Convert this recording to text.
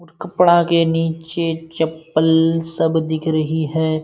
और कपड़ा के नीचे चप्पल सब दिख रही है।